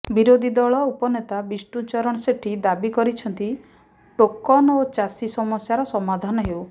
ବିରୋଧୀ ଦଳ ଉପନେତା ବିଷ୍ଣୁଚରଣ ସେଠୀ ଦାବି କରିଛନ୍ତି ଟୋକନ ଓ ଚାଷୀ ସମସ୍ୟାର ସମାଧାନ ହେଉ